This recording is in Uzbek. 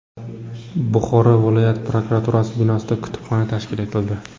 Buxoroda viloyat prokuraturasi binosida kutubxona tashkil etildi.